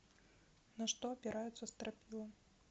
на что опираются стропила